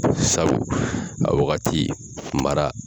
Sabu, a wagati mara